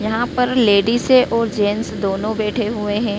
यहां पर लेडीसे और जेंट्स दोनों बैठे हुए हैं।